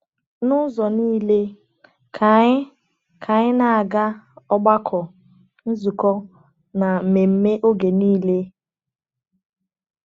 N’ụzọ niile, ka anyị ka anyị na-aga ọgbakọ, nzukọ, na mmemme oge niile.